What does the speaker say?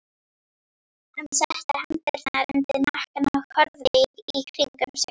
Hann setti hendurnar undir hnakkann og horfði í kringum sig.